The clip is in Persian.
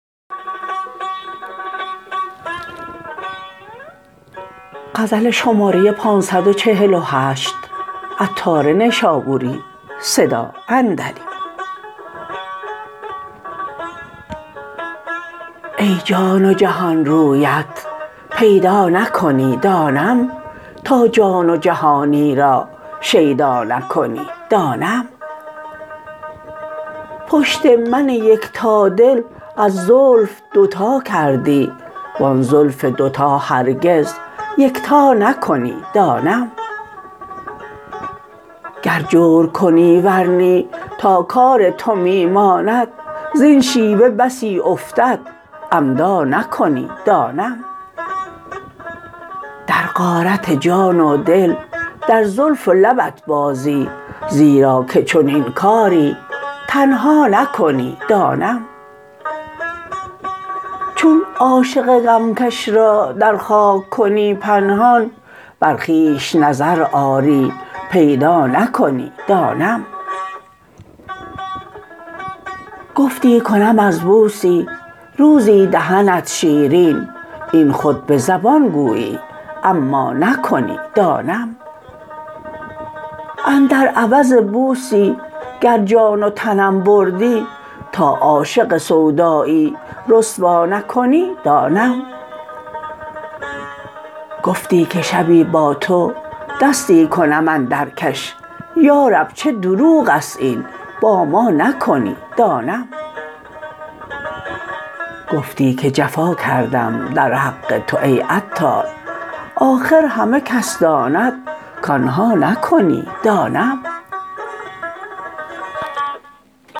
ای جان و جهان رویت پیدا نکنی دانم تا جان و جهانی را شیدا نکنی دانم پشت من یکتا دل از زلف دوتا کردی و آن زلف دوتا هرگز یکتا نکنی دانم گر جور کنی ور نی تا کار تو می ماند زین شیوه بسی افتد عمدا نکنی دانم در غارت جان و دل در زلف و لبت بازی زیرا که چنین کاری تنها نکنی دانم چون عاشق غم کش را در خاک کنی پنهان بر خویش نظر آری پیدا نکنی دانم گفتی کنم از بوسی روزی دهنت شیرین این خود به زبان گویی اما نکنی دانم اندر عوض بوسی گر جان و تنم بردی تا عاشق سودایی رسوا نکنی دانم گفتی که شبی با تو دستی کنم اندر کش یارب چه دروغ است این با ما نکنی دانم گفتی که جفا کردم در حق تو ای عطار آخر همه کس داند کانها نکنی دانم